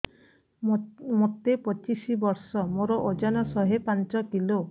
ମୋତେ ପଚିଶି ବର୍ଷ ମୋର ଓଜନ ଶହେ ପାଞ୍ଚ କିଲୋ